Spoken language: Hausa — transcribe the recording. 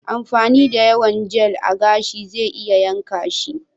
Amfani da yawan Jel a gashi zai iya yanka shi.